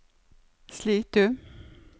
Slitu